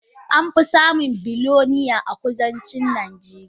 Amfi samun bilinear a kudancin najeriya.